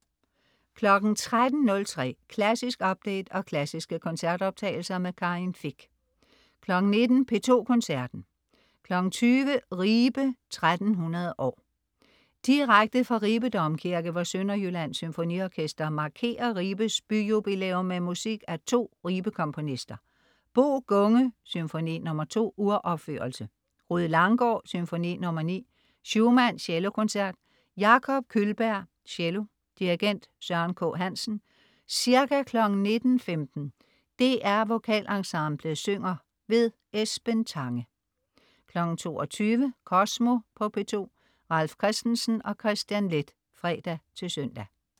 13.03 Klassisk update og klassiske koncertoptagelser. Karin Fich 19.00 P2 Koncerten. 20.00 Ribe 1300 år. Direkte fra Ribe Domkirke, hvor Sønderjyllands Symfoniorkester markerer Ribes byjubilæum med musik af to Ribe-komponister. Bo Gunge: Symfoni nr. 2. (Uropførelse). Rued Langgaard: Symfoni nr. 9. Schumann: Cellokoncert. Jakob Kullberg, cello. Dirigent: Søren K. Hansen. Ca. 19.15 DR VokalEnsemblet synger. Esben Tange 22.00 Kosmo på P2. Ralf Christensen og Kristian Leth (fre-søn)